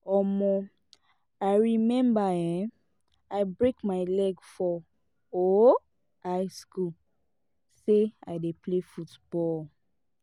um i remember um i break my leg for um high school say i dey play football